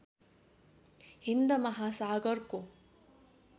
Hind महासागरको